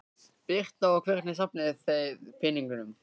Birta: Og hvernig safnið þið peningum?